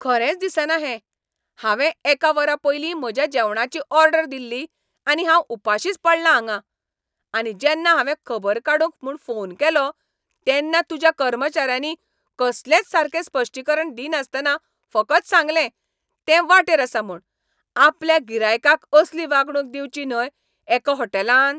खरेंच दिसना हें. हांवें एका वरा पयलीं म्हज्या जेवणाची ऑर्डर दिल्ली , आनी हांव उपाशींच पडलां हांगा. आनी जेन्ना हांवें खबर काडूंक म्हूण फोन केलो, तेन्ना तुज्या कर्मचाऱ्यांनी कसलेंच सारकें स्पश्टीकरण दिनासतना फकत सांगले, तें वाटेर आसा म्हूण. आपल्या गिरायकाक असली वागणूक दिवची न्हय एका हॉटेलान.